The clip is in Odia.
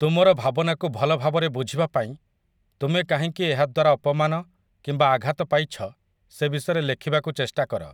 ତୁମର ଭାବନାକୁ ଭଲଭାବରେ ବୁଝିବା ପାଇଁ ତୁମେ କାହିଁକି ଏହା ଦ୍ୱାରା ଅପମାନ କିମ୍ବା ଆଘାତ ପାଇଛ ସେ ବିଷୟରେ ଲେଖିବାକୁ ଚେଷ୍ଟା କର ।